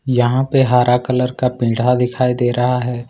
यहां पर हरा कलर का पीड़ा दिखाई दे रहा है।